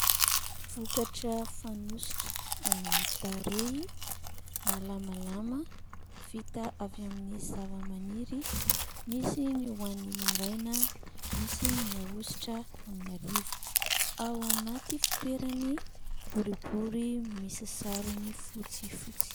Vokatra fanosotra amin'ny tarehy malamalama vita avy amin'ny zava-maniry misy ny ho an'ny maraina misy ny ahositra amin'ny ariva ao anaty fitoerany boribory misy sarony fotsy fotsy.